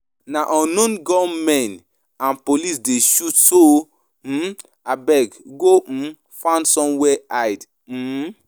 Na unknown gun-men and police dey shoot so o, um abeg go um find somewhere hide. um